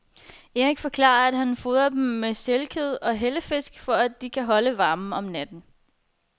Erik forklarer, at han fodrer dem med sælkød og hellefisk, for at de kan holde varmen om natten.